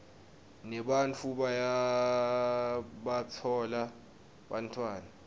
nebantfu bayabatfola bantfwana